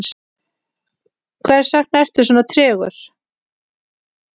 hversvegna ertu svona tregur